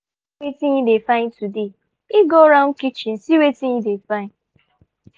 pikin get wetin hin dey find today e go round kitchen see wetin e fit find